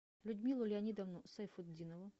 людмилу леонидовну сайфутдинову